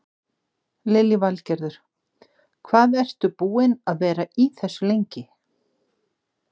Lillý Valgerður: Hvað ertu búinn að vera í þessu lengi?